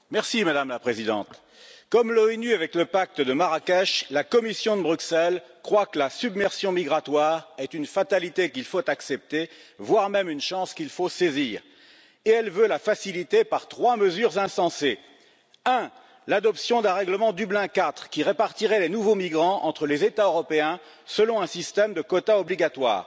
Madame la Présidente, comme les Nations unies avec le pacte de Marrakech, la Commission de Bruxelles croit que la submersion migratoire est une fatalité qu'il faut accepter, voire une chance qu'il faut saisir. Elle veut la faciliter par trois mesures insensées premièrement, l'adoption d'un règlement Dublin IV qui répartirait les nouveaux migrants entre les États européens, selon un système de quotas obligatoires